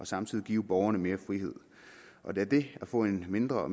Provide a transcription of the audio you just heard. samtidig give borgerne mere frihed da det at få en mindre og